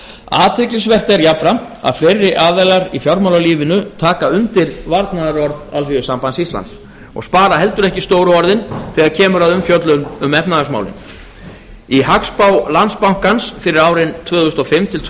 athyglisvert er jafnframt að fleiri aðilar í fjármálalífinu taka undir varnaðarorð así og spara heldur ekki stóru orðin þegar kemur að umfjöllun um efnahagsmálin í hagspá landsbankans tvö þúsund og fimm til tvö